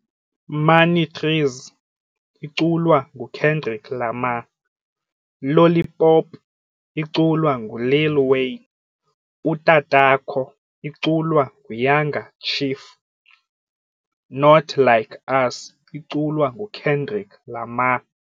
Money Trees iculwa nguKendrik Lamar, Lollipop iculwa nguLil Wayne, Utatakho iculwa ngaYanga chief, Not Like Us iculwa nguKendrik Lamar.